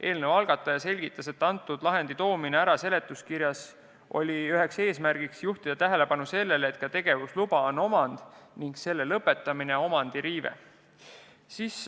Eelnõu algataja selgitas, et see lahend toodi seletuskirjas ära, et juhtida tähelepanu sellele, et ka tegevusluba on omand ning selle lõpetamine omandiõiguse riive.